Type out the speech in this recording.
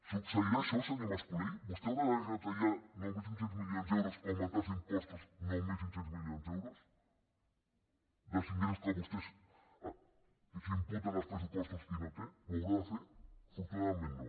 succeirà això senyor mas colell vostè haurà de retallar nou mil cinc cents milions d’euros o augmentar els impostos nou mil cinc cents milions d’euros dels ingressos que vostès imputen als pressupostos i no té ho haurà de fer afortunadament no